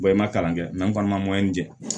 i ma kalan kɛ an fana ma di